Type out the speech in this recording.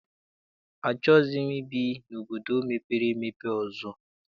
Achọghị m ibi n'obodo mepere emepe ọzọ.